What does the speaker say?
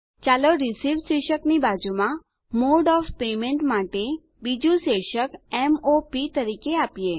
ચાલો રિસીવ્ડ શીર્ષકની બાજુમાં મોડે ઓએફ પેમેન્ટ માટે બીજું શીર્ષક m o પ તરીકે આપીએ